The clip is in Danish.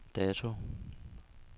dato